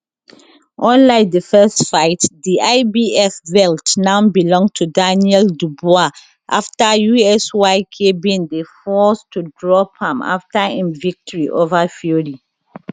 unlike di first fight di ibf belt now belong to daniel dubois afta usyk bin dey forced to drop am afta im victory ova fury